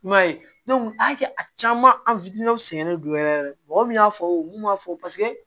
I m'a ye a y'a kɛ a caman an sɛgɛnnen don yɛrɛ yɛrɛ de mɔgɔ min y'a fɔ mun b'a fɔ paseke